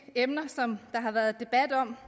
emner der har været debat om